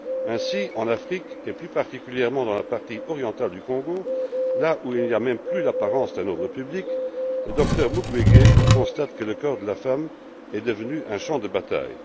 Ainsi, en Afrique et plus particulièrement dans la partie orientale du Congo, là où il n'y a même plus l'apparence d'un ordre public, le docteur Mukwege constate que le corps de la femme est devenu un champ de bataille.